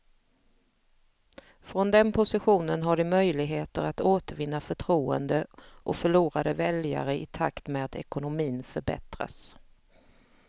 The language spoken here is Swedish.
Från den positionen har de möjligheter att återvinna förtroende och förlorade väljare i takt med att ekonomin förbättras.